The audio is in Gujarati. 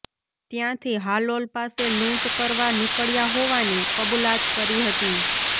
ત્યાંથી હાલોલ પાસે લુંટ કરવા નિકળ્યા હોવાની કબૂલાત કરી હતી